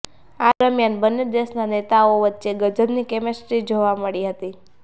આ દરમિયાન બન્ને દેશના નેતાઓએ વચ્ચે ગજબની કેમિસ્ટ્રી જોવા મળી હતી